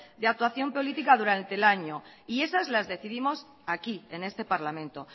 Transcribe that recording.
de actuación política durante el año y esas las decidimos aquí en este parlamento